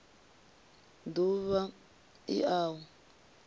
d uvha l a u